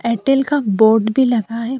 Airtel का board भी लगा है।